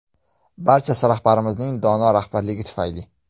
Barchasi rahbarimizning dono rahbarligi tufayli”.